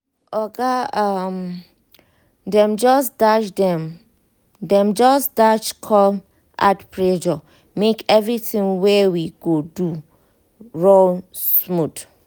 oga um dem just dash dem just dash come add pressure make everything wey we go do ru smooth